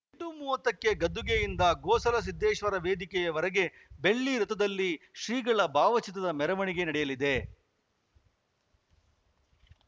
ಎಂಟು ಮೂವತ್ತಕ್ಕೆ ಗದ್ದುಗೆಯಿಂದ ಗೋಸಲ ಸಿದ್ದೇಶ್ವರ ವೇದಿಕೆಯವರೆಗೆ ಬೆಳ್ಳಿರಥದಲ್ಲಿ ಶ್ರೀಗಳ ಭಾವಚಿತ್ರದ ಮೆರವಣಿಗೆ ನಡೆಯಲಿದೆ